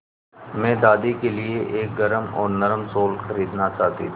मैं दादी के लिए एक गरम और नरम शाल खरीदना चाहती थी